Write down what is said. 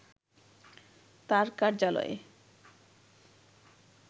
তার কার্যালয়ে